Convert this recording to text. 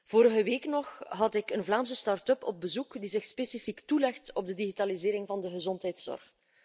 Vorige week had ik een Vlaamse start up op bezoek die zich specifiek toelegt op de digitalisering van de gezondheidszorg.